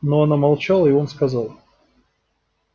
но она молчала и он сказал